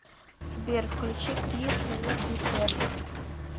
сбер включи крис ву десерв